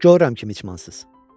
Görürəm ki, miçmansız.